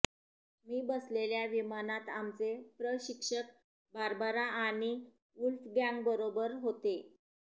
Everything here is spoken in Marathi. मी बसलेल्या विमानात आमचे प्रशिक्षक बार्बरा आणि वुल्फगँगबरोबर होते